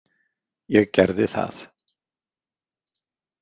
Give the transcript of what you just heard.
Ég gerði það.